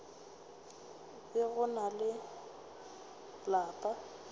be go na le lapa